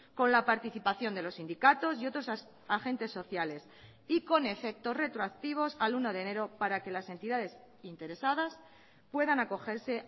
con la participación de los sindicatos y otros agentes sociales y con efectos retroactivos al uno de enero para que las entidades interesadas puedan acogerse